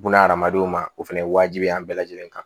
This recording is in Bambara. Buna hadamadenw ma o fɛnɛ ye wajibi ye an bɛɛ lajɛlen kan